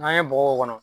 N'an ye bɔgɔ k'o kɔnɔ